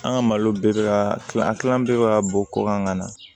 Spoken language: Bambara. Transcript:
An ka malo bɛɛ bɛ ka kilan kilan bɛɛ bɛ ka bɔ kɔkan ka na